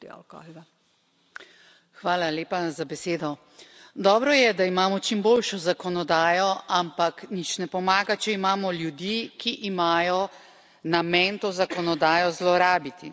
Spoštovana predsednica, hvala lepa za besedo. Dobro je, da imamo čim boljšo zakonodajo, ampak nič ne pomaga, če imamo ljudi, ki imajo namen to zakonodajo zlorabiti.